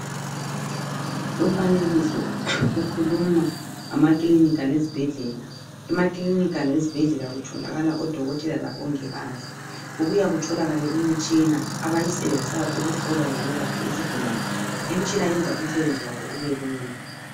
Odokotela labo mongikazi ezibhedlela, sebelemitshina abayisenzisayo ukuhlola lokwelapha izigulane. Imitshina leyi iyenza umsebenzi wabo ubelula.